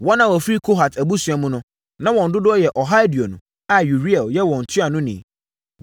Wɔn a wɔfiri Kohat abusua mu no, na wɔn dodoɔ yɛ ɔha aduonu a Uriel yɛ wɔn ntuanoni.